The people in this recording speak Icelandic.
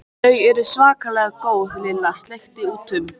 Þau eru svakalega góð Lilla sleikti út um.